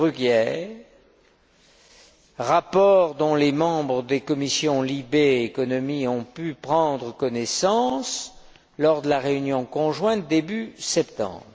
Bruguière, dont les membres des commissions LIBE et ECON ont pu prendre connaissance lors de la réunion conjointe, début septembre.